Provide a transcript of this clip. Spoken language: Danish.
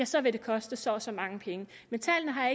så vil det koste så og så mange penge men tallene har